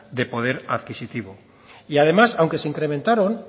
de poder adquisitivo y además aunque se incrementaron